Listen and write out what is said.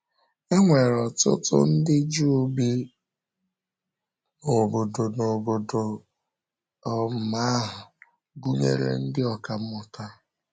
E nwere ọ̀tụ̀tụ̀ ndị Juu bi n’ọ̀bọ̀dò n’ọ̀bọ̀dò um ahụ, gụnyere ndị ọkà mmụta.